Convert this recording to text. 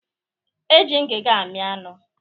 E ji ngiga amị anụ